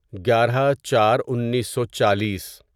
گیارہ چار انیسو چالیس